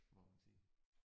Må man sige